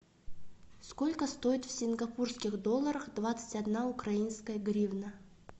сколько стоит в сингапурских долларах двадцать одна украинская гривна